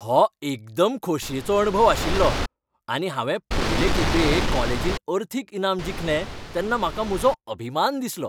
हो एकदम खोशयेचो अणभव आशिल्लो आनी हांवें पयलें खेपे कॉलेजींत अर्थीक इनाम जिखलें तेन्ना म्हाका म्हजो अभिमान दिसलो.